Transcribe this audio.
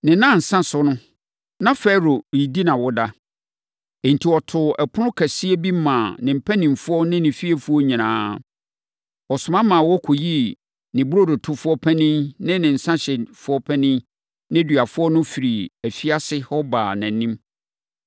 Ne nnansa so no, na Farao redi nʼawoda. Enti, ɔtoo ɛpono kɛseɛ bi maa ne mpanimfoɔ ne ne fiefoɔ nyinaa. Ɔsoma ma wɔkɔyii ne burodotofoɔ panin ne ne nsãhyɛfoɔ panin nneduafoɔ no firii afiase hɔ baa nʼanim.